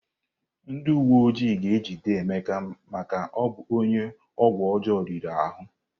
Ndị uwe ojii ga-ejide Ike maka ịbụ onye ọgwụ ọjọọ riri ahụ.